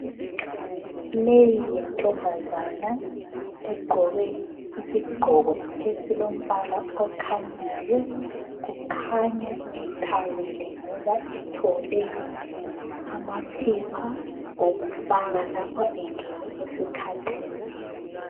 Leyi yintombazana egqoke isigqoko esilombala okhanyayo ikhanya ithabile ngoba ithole izitshubo zokusebenzisa nxa isesikhathini.